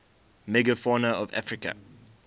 megafauna of africa